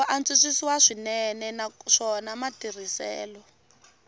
ku antswisiwa swinene naswona matirhiselo